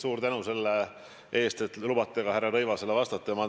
Suur tänu selle eest, et lubate mul härra Rõivasele vastata!